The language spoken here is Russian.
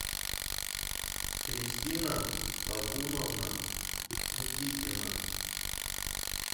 кристина табуновна никитина